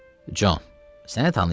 Con, səni tanıyıblar.